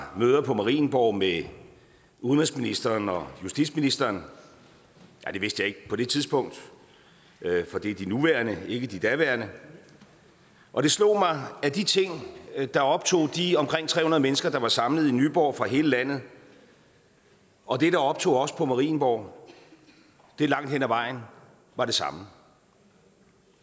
møder på marienborg med udenrigsministeren og justitsministeren ja det vidste jeg ikke på det tidspunkt for det er de nuværende ikke de daværende og det slog mig at de ting der optog de omkring tre hundrede mennesker der var samlet i nyborg fra hele landet og det der optog os på marienborg langt hen ad vejen var det samme